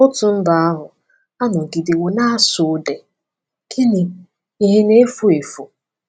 Otu mba ahụ “anọgidewo na-asụ ude” gịnị “ihe na-efu efu”?